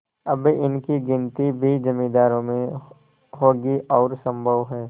अब इनकी गिनती भी जमींदारों में होगी और सम्भव है